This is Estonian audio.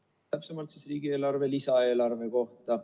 ]... täpsemalt siis riigieelarve lisaeelarve kohta.